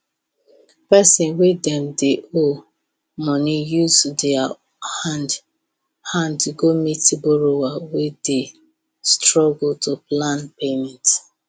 person wey dem dey owe money use their hand hand go meet borrower wey dey struggle to plan payment